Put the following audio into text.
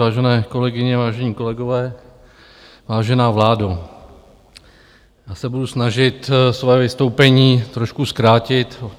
Vážené kolegyně, vážení kolegové, vážená vládo, já se budu snažit své vystoupení trošku zkrátit.